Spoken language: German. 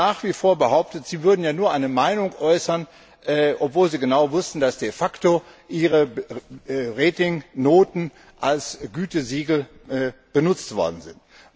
Und sie haben nach wie vor behauptet, sie würden nur eine Meinung äußern, obwohl sie genau wussten, dass de facto ihre Ratingnoten als Gütesiegel benutzt worden sind.